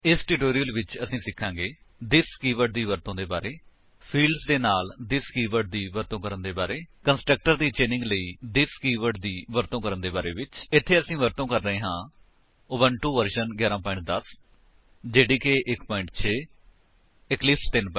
ਇਸ ਟਿਊਟੋਰਿਅਲ ਵਿੱਚ ਅਸੀ ਸਿਖਾਂਗੇ ਥਿਸ ਕੀਵਰਡ ਦੀ ਵਰਤੋ ਦੇ ਬਾਰੇ ਫੀਲਡਜ਼ ਦੇ ਨਾਲ ਥਿਸ ਕੀਵਰਡ ਦੀ ਵਰਤੋ ਕਰਨ ਦੇ ਬਾਰੇ ਕੰਸਟਰਕਟਰਸ ਦੀ ਚੇਨਿੰਗ ਲਈ ਥਿਸ ਕੀਵਰਡ ਦੀ ਵਰਤੋ ਕਰਨ ਦੇ ਬਾਰੇ ਵਿੱਚ ਇੱਥੇ ਅਸੀ ਵਰਤੋ ਕਰ ਰਹੇ ਹਾਂ ਉਬੰਟੂ ਵਰਜਨ 11 10 ਜੇਡੀਕੇ 1 6 ਇਕਲਿਪਸ 3 7 0 ਇਸ ਟਿਊਟੋਰਿਅਲ ਨੂੰ ਸਮਝਣ ਲਈ ਤੁਹਾਨੂੰ ਪਤਾ ਹੋਣਾ ਚਾਹੀਦਾ ਹੈ